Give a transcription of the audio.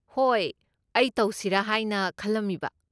ꯍꯣꯏ, ꯑꯩ ꯇꯧꯁꯤꯔꯥ ꯍꯥꯏꯅ ꯈꯜꯂꯝꯃꯤꯕ꯫